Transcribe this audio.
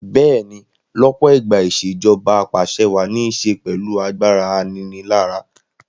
Bẹ́ẹ̀ni lọ́pọ̀ ìgbà ìṣèjoba Ap'àṣẹwàá ní ṣe pẹ̀lú agbára aninilára